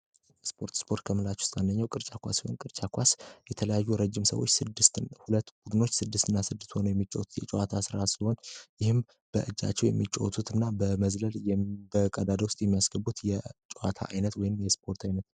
ስፖርት ስፖርት ከምላች ውስታነኛው ቅርጫ ኳስሆን ቅርጫ ኳስ የተለያዩ ረጅም ሰዎች ስድስት ሁለት ቡድኖች ስድስት እና ስድስት ሆኖ የሚጫወቱት የጨዋታ ሥራ ስሆን ይህም በእጃቸው የሚጫወቱት እና በመዝለል በቀዳደ ውስጥ የሚያስገቡት የጨዋታ አይነት ወይን የስፖርት ዓይነት ነው።